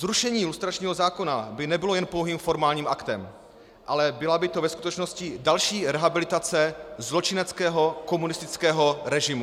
Zrušení lustračního zákona by nebylo jen pouhým formálním aktem, ale byla by to ve skutečnosti další rehabilitace zločineckého komunistického režimu.